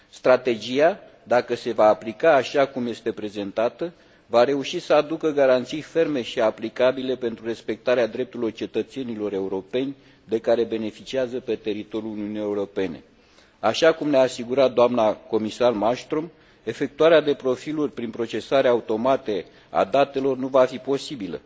Strategia, dacă se va aplica așa cum este prezentată, va reuși să aducă garanții ferme și aplicabile pentru respectarea drepturilor cetățenilor europeni de care beneficiază pe teritoriul Uniunii Europene. Așa cum ne a asigurat doamna comisar Malmström, efectuarea de profiluri prin procesarea automată a datelor nu va fi posibilă.